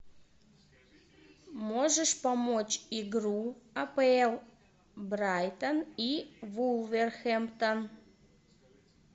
можешь помочь игру апл брайтон и вулверхэмптон